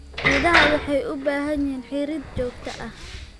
Idaha waxay u baahan yihiin xiirid joogto ah.